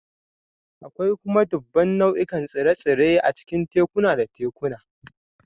Akwai kuma dubban nau'ikan tsire-tsire a cikin tekuna da tekuna